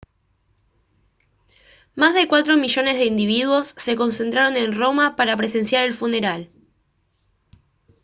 más de cuatro millones de individuos se concentraron en roma para presenciar el funeral